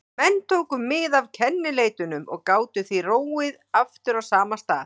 Menn tóku mið af kennileitunum og gátu því róið aftur á sama stað.